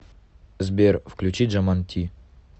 сбер включи джаман ти